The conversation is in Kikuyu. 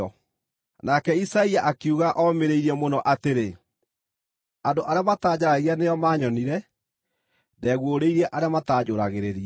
Nake Isaia akiuga omĩrĩirie mũno atĩrĩ, “Andũ arĩa mataanjaragia nĩo maanyonire; ndeeguũrĩirie arĩa mataanjũũragĩrĩria.”